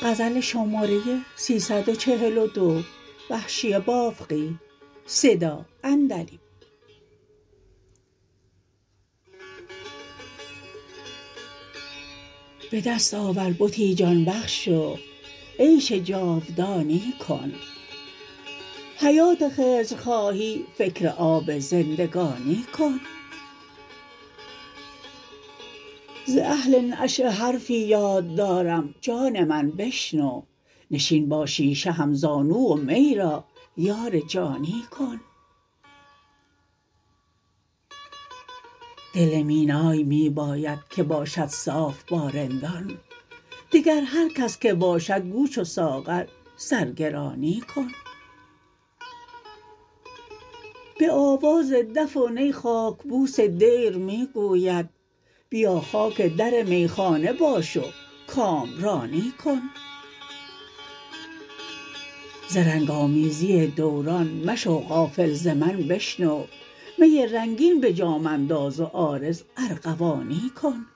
به دست آور بتی جان بخش و عیش جاودانی کن حیات خضر خواهی فکر آب زندگانی کن ز اهل نشأه حرفی یاد دارم جان من بشنو نشین با شیشه همزانو و می را یار جانی کن دل مینای می باید که باشد صاف با رندان دگر هرکس که باشد گو چو ساغر سرگرانی کن به آواز دف و نی خاکبوس دیر می گوید بیا خاک در میخانه باش و کامرانی کن ز رنگ آمیزی دوران مشو غافل ز من بشنو می رنگین به جام انداز و عارض ارغوانی کن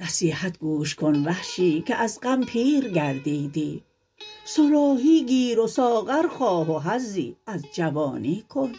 نصیحت گوش کن وحشی که از غم پیر گردیدی صراحی گیر و ساغر خواه و حظی از جوانی کن